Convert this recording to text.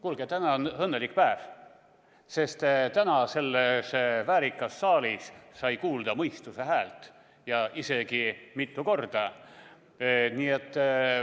Kuulge, täna on õnnelik päev, sest täna sai selles väärikas saalis kuulda mõistuse häält, isegi mitu korda.